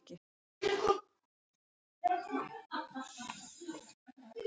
Ég var sestur út í bílskúr, í vinnustofuna mína, og byrjaður að vinna.